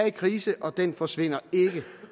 en krise og den forsvinder ikke